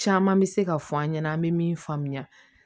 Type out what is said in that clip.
Caman bɛ se ka fɔ an ɲɛna an bɛ min faamuya